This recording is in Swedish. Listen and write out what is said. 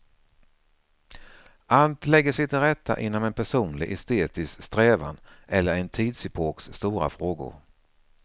Allt lägger sig till rätta inom en personlig, estetisk strävan eller en tidsepoks stora frågor.